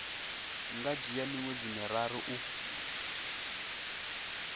nga dzhia miṅwedzi miraru u